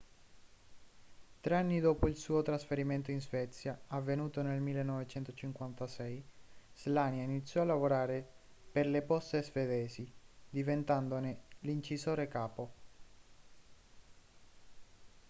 tre anni dopo il suo trasferimento in svezia avvenuto nel 1956 słania iniziò a lavorare per le poste svedesi diventandone l'incisore capo